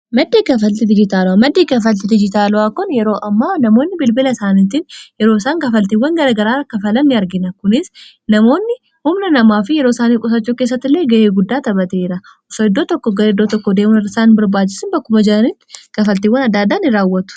Maddi kafalitii maddii kafalti dijitaalaaa kun yeroo amma namoonni bilbila isaaniitiin yeroo isaan kafaltiiwwan garagaraa kafalan ni argina. Kunis namoonni umnaa namaa fi yeroo isaaniif gusachule keessattillee ga'ee guddaa tapateera osso idoo tokko gara idoo tokko deeman arsaan barbaachisin bakkuma jaariitt kafaltiiwwan adaadaan in raawwatu.